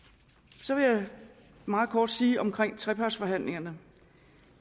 så vil jeg meget kort sige om trepartsforhandlingerne